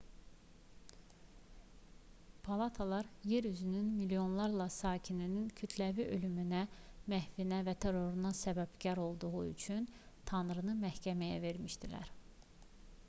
palatalar yer üzünün milyonlarla sakininin kütləvi ölümünə məhvinə və teroruna səbəbkar olduğu üçün tanrını məhkəməyə vermişdilər